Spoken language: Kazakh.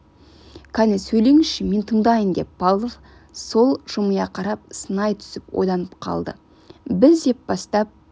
кәне сөйлеңізші мен тыңдайын деп павлов сол жымия қарап сынай түсіп ойланып қалды біз деп бастап